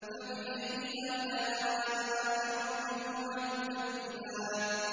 فَبِأَيِّ آلَاءِ رَبِّكُمَا تُكَذِّبَانِ